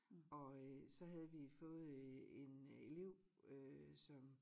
Og øh så havde vi fået øh en øh elev øh som